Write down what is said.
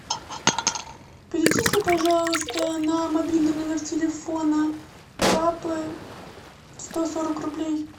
перечисли пожалуйста на мобильный номер телефона папы сто сорок рублей